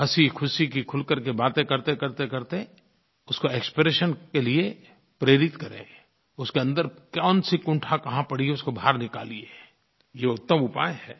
हँसीख़ुशी की खुल कर के बातें करतेकरतेकरते उसको एक्सप्रेशन के लिये प्रेरित करें उसके अन्दर कौनसी कुंठा कहाँ पड़ी है उसको बाहर निकालिए ये उत्तम उपाय है